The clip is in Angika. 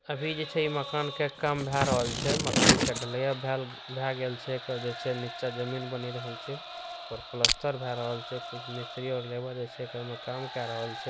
अभी जे छे ये मकान का काम बहराल छे मकान के ढलिया भए भएल गए छे एकर जे छे नीचा जमीन बनी रहल छे ऊपर प्लास्टर बहरल छे कुछ मिस्त्री और लेबर जे छे ई में काम कहरल छे।